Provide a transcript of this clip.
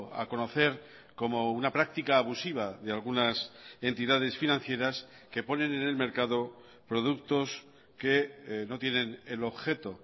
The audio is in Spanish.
a conocer como una práctica abusiva de algunas entidades financieras que ponen en el mercado productos que no tienen el objeto